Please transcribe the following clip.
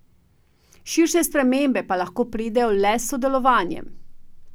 Širše spremembe pa lahko pridejo le s sodelovanjem.